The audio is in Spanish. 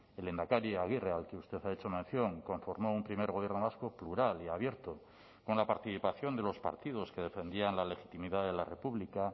el lehendakari aguirre al que usted ha hecho mención conformó un primer gobierno vasco plural y abierto con la participación de los partidos que defendían la legitimidad de la república